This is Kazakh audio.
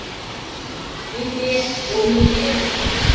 мен бе ол не дегенің